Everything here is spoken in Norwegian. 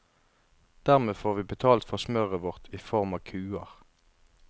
Dermed får vi betalt for smøret vårt i form av kuer.